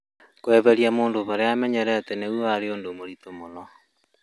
kweherĩa mũndũ harĩa amenyerete nĩgũo warĩ ũndũ mũrĩtũ mũno